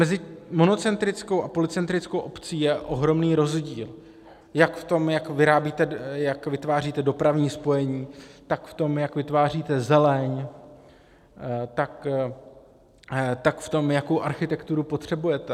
Mezi monocentrickou a polycentrickou obcí je ohromný rozdíl jak v tom, jak vytváříte dopravní spojení, tak v tom, jak vytváříte zeleň, tak v tom, jakou architekturu potřebujete.